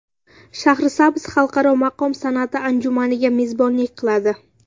Shahrisabz Xalqaro maqom san’ati anjumaniga mezbonlik qiladi.